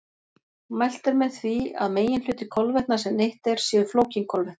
Mælt er með því að meginhluti kolvetna sem neytt er séu flókin kolvetni.